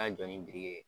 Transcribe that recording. Ka jɔ ni biriki ye